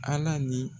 Ala ni